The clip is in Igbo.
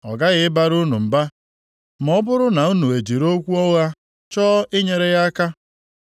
Ọ ghaghị ịbara unu mba ma ọ bụrụ na unu ejiri okwu ụgha chọọ inyere ya aka.